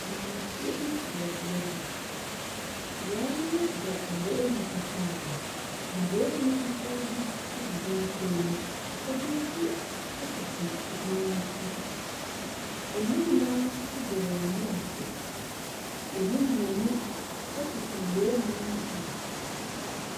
Maamefoɔ bi wɔ bea bi. Wɔbɔ abowomu fitaa. Abowomu fitaa bi nso gu binom kɔn mu. Ebi nso tete ebinom ti. Emu nnan abɔ wɔn mu ase, emu mmienu kuta abowomu no bi.